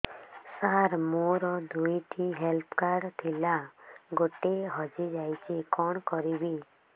ସାର ମୋର ଦୁଇ ଟି ହେଲ୍ଥ କାର୍ଡ ଥିଲା ଗୋଟେ ହଜିଯାଇଛି କଣ କରିବି